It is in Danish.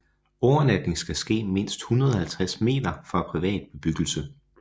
Overnatning skal ske mindst 150 meter fra privat bebyggelse